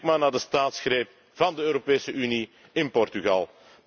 Kijk maar naar de staatsgreep van de Europese Unie in Portugal.